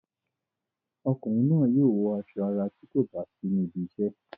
Ọkùnrin náà yóò wọ aṣọ ara tí kò bá sí níbi iṣẹ́.